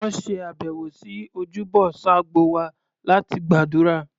Wọn ṣe àbẹ̀wò sí ojúbọ Sabgo wa láti gbàdúrà.